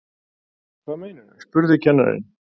Hvað meinarðu? spurði kennarinn.